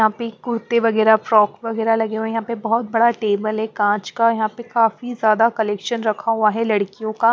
यहाँ पे कुर्ते वगैरह फ्रॉक वगैरह लगे हुए हैं यहाँ पे बहुत बड़ा टेबल है काँच का यहाँ पे काफी ज्यादा कलेक्शन रखा हुआ है लड़कियों का --